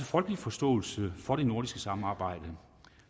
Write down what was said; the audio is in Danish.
folkelig forståelse for det nordiske samarbejde